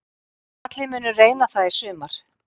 Allir munu reyna það í sumar